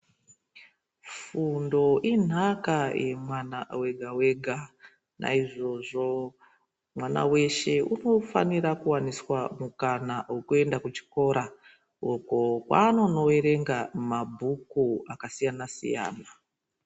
Fundo inhaka yemwana wega-wega. Naizvozvo mwana weshe unofanira kuwaniswa mukana wekuenda kuchikora ,uko kwaanonoerenga mabhuku akasiyana-siyana.